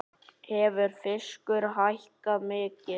Hefur fiskur hækkað mikið?